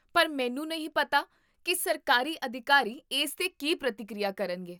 ਪਰ ਮੈਨੂੰ ਨਹੀਂ ਪਤਾ ਕੀ ਸਰਕਾਰੀ ਅਧਿਕਾਰੀ ਇਸ 'ਤੇ ਕੀ ਪ੍ਰਤੀਕੀਰਿਆ ਕਰਨਗੇ